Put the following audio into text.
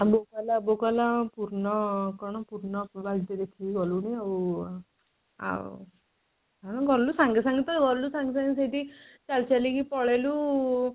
ବୋଉ କହିଲା ବୋଉ କହିଲା ପୁର୍ଣ କଣ ପୁର୍ଣ ବାଲ୍ଟି ଦେଖିକି ଗଲୁଣି ଆଉ ଆଉ ଆମେ ଗଲୁ ସାଙ୍ଗେ ସାଙ୍ଗେ ତ ଗଲୁ ସାଙ୍ଗେ ସାଙ୍ଗେ ସେଠି ଚାଲି ଚାଲି କି ପଳେଇଲୁ